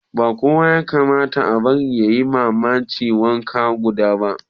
Ba kowa yakamata a bari yayima mamaci wankan gawaba